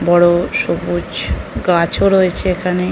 বড়ো সবুজ গাছও রয়েছে এখানে।